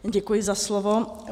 Děkuji za slovo.